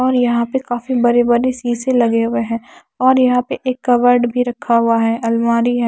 और यहां पे काफी बड़े-बड़े शीशे लगे हुए हैं और यहां पे एक कवर्ड भी रखा हुआ है अलमारी है।